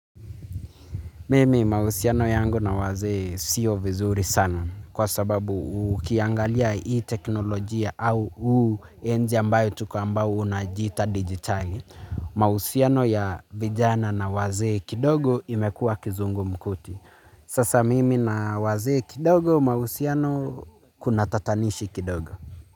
Mimi mahusiano yangu na wazee siyo vizuri sana kwa sababu ukiangalia hii teknolojia au huu enzi ambayo tuko ambao unajiita digitali. Mahusiano ya vijana na wazee kidogo imekuwa kizungu mkuti. Sasa mimi na wazee kidogo mahusiano kuna tatanishi kidogo.